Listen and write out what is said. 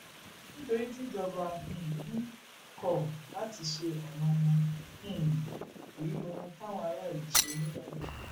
nítorí tíjọba um kọ láti ṣe ọnà wọn um èyí lohun táwọn aráàlú ṣe níìbàdàn